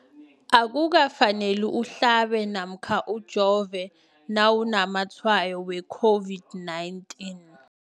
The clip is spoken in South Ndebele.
Akuka faneli uhlabe namkha ujove nawu namatshayo we-COVID-19.